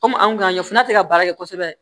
Kɔmi an kun y'a ɲɛf'a ti ka baara kɛ kosɛbɛ